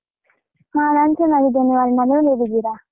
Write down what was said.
ಹ ನಾನ್ ಚೆನ್ನಾಗಿದ್ದೇನೆ ವರ್ಣ, ನೀವ್ ಹೇಗಿದ್ದೀರಾ?